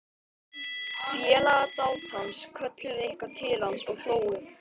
Félagar dátans kölluðu eitthvað til hans og hlógu.